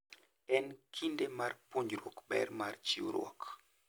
En kinde mar puonjruok ber mar chiwruok.